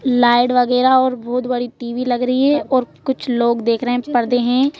Light वगैरह और बहुत बड़ी टीवी लग रही है और कुछ लोग देख रहे हैं पर्दे हैं।